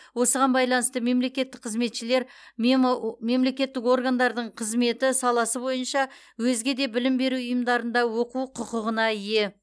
осыған байланысты мемлекеттік қызметшілер мемо мемлекеттік органдардың қызметі саласы бойынша өзге де білім беру ұйымдарында оқу құқығына ие